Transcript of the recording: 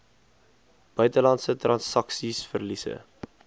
buitelandse transaksies verliese